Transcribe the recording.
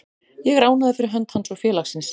Ég er ánægður fyrir hönd hans og félagsins.